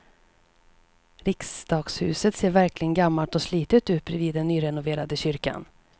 Riksdagshuset ser verkligen gammalt och slitet ut bredvid den nyrenoverade kyrkan.